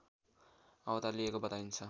अवतार लिएको बताइन्छ।